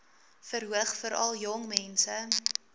verhoog veral jongmense